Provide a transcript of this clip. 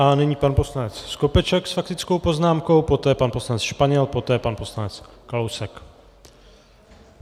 A nyní pan poslanec Skopeček s faktickou poznámkou, poté pan poslanec Španěl, poté pan poslanec Kalousek.